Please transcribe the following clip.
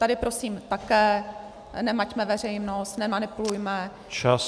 Tady prosím také nemaťme veřejnost, nemanipulujme.